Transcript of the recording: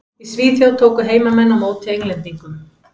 Í Svíþjóð tóku heimamenn á móti Englendingum.